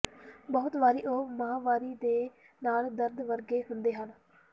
ਬਹੁਤ ਵਾਰੀ ਉਹ ਮਾਹਵਾਰੀ ਦੇ ਨਾਲ ਦਰਦ ਵਰਗੇ ਹੁੰਦੇ ਹਨ